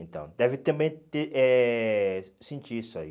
Então, deve também ter eh sentir isso aí.